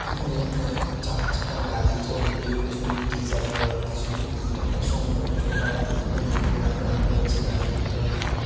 এখানে অনেক চার চাকা গাড়ি স্করপিও সুইফট ডিস আহে মারুতি সুজুকি টাটা সুমো ছোট্ট হাতি সাবধানে লেখা রাখা আছে গাড়ী। এবং মা--